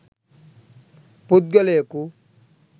පුද්ගලයකු